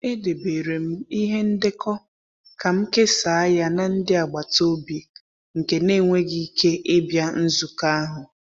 Edebere m ihe ndekọ ka m kesaa ya na ndị agbata obi nke n'enweghi ike ịbịa nzukọ ahụ.